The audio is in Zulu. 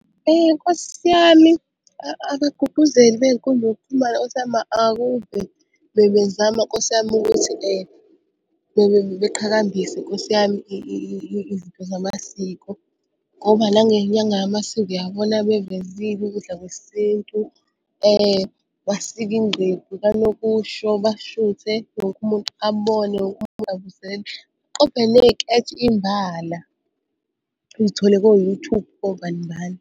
Nkosi yami abagqugquzeli bey'nkundla zokuxhumana nkosi yami akuve bebezama nkosi yami ukuthi beqhakambise Nkosi yami izinto zamasiko, ngoba nangenyanga yamasiko uyabona bevezile ukudla kwesintu, basika ingqephu kanokusho bashuthe wonke umuntu abone . Uy'thole ko-YouTube kobani bani.